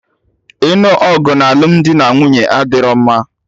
Ịnụ ọgụ na alụmdi na nwunye adịro mma